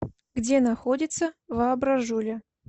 где находится воображуля